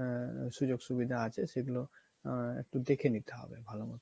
আহ সুযোগ সুবিধা আছে সেগুলো আহ একটু দেখে নিতে হবে ভালো মতো।